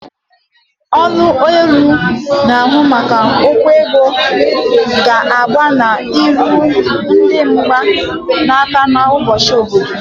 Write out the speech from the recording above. Ọlụ ọrụ na-ahu maka okwu ego ga-aga n'iru idi mgba n'akụ na ụba obodo.